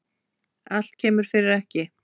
Allt kemur fyrir ekki.